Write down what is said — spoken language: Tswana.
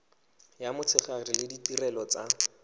ya motshegare le ditirelo tsa